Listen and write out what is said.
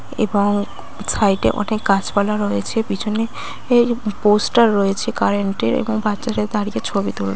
এবং সাইটে ওঠে গাছপালা রয়েছে। পিছনে পোস্ট -টা রয়েছে কারেন্ট এর এবং বাচ্চাদের দাঁড়িয়ে ছবি তুল--